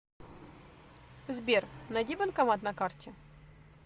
сбер найди банкомат на карте